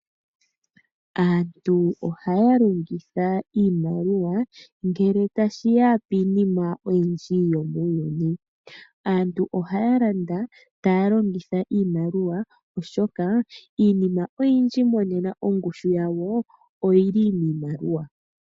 Aantu ohaya longekidha iimaliwa ngele tashiya piinima oyindji yomuuyuni. Aantu ohaya landa taya longitha iimaliwa oshoka iinima oyindji monena ongushu oyili miimaliwa.